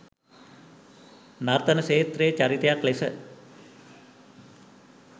නර්තන ක්ෂේත්‍රයේ චරිතයක් ලෙස